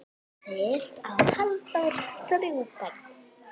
Fyrir á Halldór þrjú börn.